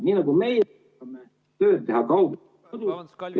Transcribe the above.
Nii nagu meie saame tööd teha ......